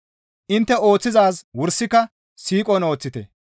Intte ooththizaaz wursika siiqon ooththite.